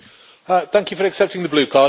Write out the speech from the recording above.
Thank you for accepting the blue card.